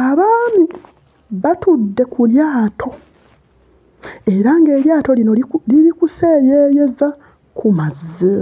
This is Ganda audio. Abaami batudde ku lyato era ng'eryato lino liri kuseeyeeyeza ku mazzi.